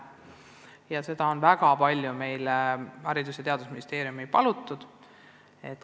Logopeedide täiendavat õpetamist on meilt, Haridus- ja Teadusministeeriumilt, väga palju palutud.